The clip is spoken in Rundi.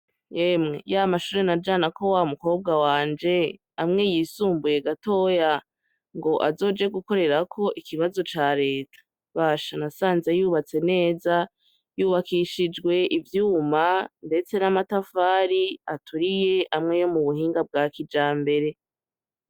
Emwe ya mashure najana ko wa mukobwa wanje amwe yisumbuye gatoya ngo azoje gukorerako ikibazo ca leta basha n’asanze yubatse neza yubakishijwe ivyuma mbetse n'amatafari aturiye amwe yo mu buhinga bwa kija mbere.